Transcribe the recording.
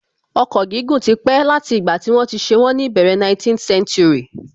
Ọkọ̀ gígùn tí pé láti ìgbà tí wọ́n ti ṣe wọ́n ní ìbẹ̀rẹ̀ 19th century